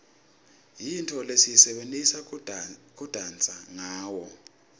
yintfo lesiyisebentisa kudansa ngawo